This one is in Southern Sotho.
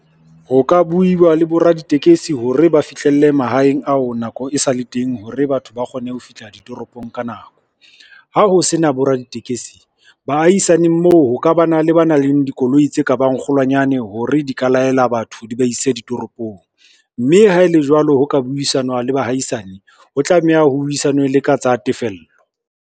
Ho ka buiwa le boraditekesi hore ba fihlelle mahaeng ao nako e sale teng hore batho ba kgone ho fihla ditoropong ka nako. Ha ho sena boraditekesi, baahisaneng moo ho ka bana le ba nang le dikoloi tse ka bang kgolwanyane hore di ka laela batho di ba ise ditoropong, mme ha e le jwalo ho ka buisana le baahaisane, ho tlameha ho buisanwe le ka tsa tefello.